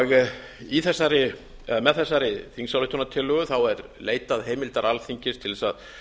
yfir viðskiptakerfi með gróðurhúsalofttegundir með þessari þingsályktunartillögu er leitað heimildar alþingis til þess að